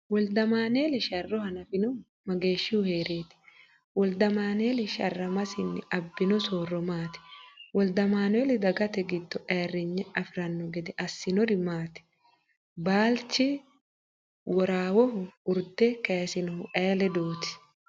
Woldamaaneeli sharro hanafinohu mageeshshihu hee’reeti? Woldamaaneeli sharramasinni abbino soorro maati? Woldamaaneeli dagate giddo ayirrinye afi’ranno gede assinosiri maati? Baallichi Worawohu urde kaysinohu ayee ledooti?